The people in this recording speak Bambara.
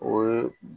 O ye